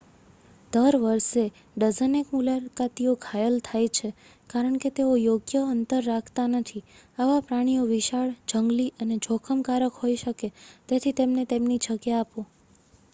દર વર્ષે ડઝનેક મુલાકાતીઓ ઘાયલ થાય છે કારણકે તેઓ યોગ્ય અંતર રાખતા નથી આવા પ્રાણીઓ વિશાળ જંગલી અને જોખમકારક હોઈ શકે તેથી તેમને તેમની જગ્યા આપો